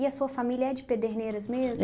E a sua família é de Pederneiras mesmo?